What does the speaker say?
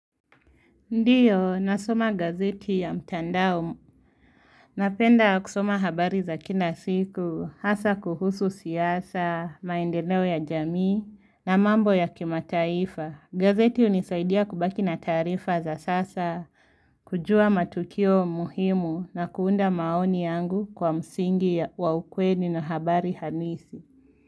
Ndiyo, nasoma gazeti ya mtandao. Napenda kusoma habari za kina siku, hasa kuhusu siasa, maendeleo ya jamii, na mambo ya kimataifa. Gazeti hunisaidia kubaki na taarifa za sasa, kujua matukio muhimu, na kuunda maoni yangu kwa msingi wa ukweli na habari hanisi.